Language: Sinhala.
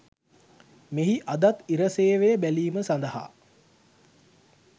මෙහි අදත් ඉර සේවය බැලීම සඳහා